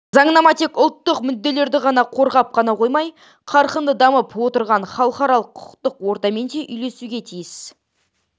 заңнама тек ұлттық мүдделерді ғана қорғап ғана қоймай қарқынды дамып отырған халықаралық құқықтық ортамен де үйлесуге тиіс